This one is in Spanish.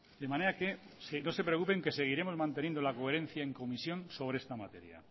de manera que no se preocupen que seguiremos manteniendo la coherencia en comisión sobre esta materia